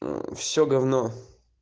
мм все говно